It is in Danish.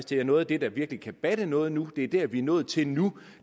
det er noget af det der virkelig kan batte noget nu det er det vi er nået til nu